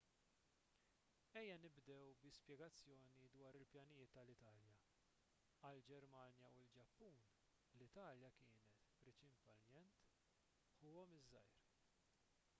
ejja nibdew bi spjegazzjoni dwar il-pjanijiet tal-italja għall-ġermanja u l-ġappun l-italja kienet prinċipalment ħuhom iż-żgħir